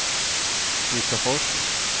Nissafors